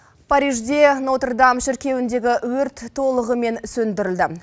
парижде нотр дам шіркеуіндегі өрт толығымен сөндірілді